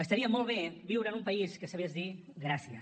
estaria molt bé viure en un país que sabés dir gràcies